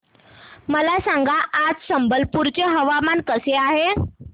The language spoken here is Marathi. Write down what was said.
मला सांगा आज संबलपुर चे हवामान कसे आहे